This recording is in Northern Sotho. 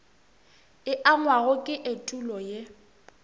e angwago ke etulo ye